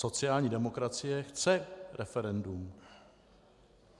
Sociální demokracie chce referendum.